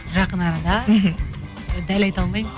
жақын арада мхм дәл айта алмаймын